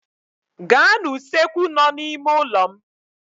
Gaa n'usekwu nọ n'ime ụlọ m